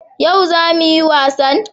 Yau za mu yi wasan?